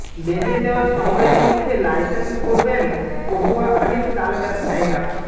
বেঁধে দেওয়া সময়ের মধ্যে লাইসেন্স করবেন পটুয়াখালীর চাল ব্যবসায়ীরা